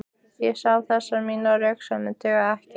Ég sá að þessar mínar röksemdir dugðu ekki.